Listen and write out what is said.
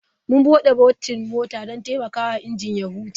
Mun bude botin mota don taimakawa injin ya huce.